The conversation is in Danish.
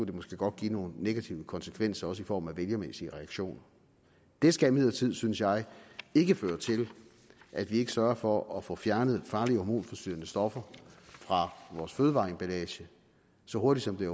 det måske godt give nogle negative konsekvenser også i form af vælgermæssige reaktioner det skal imidlertid synes jeg ikke føre til at vi ikke sørger for at få fjernet farlige hormonforstyrrende stoffer fra vores fødevareemballage så hurtigt som det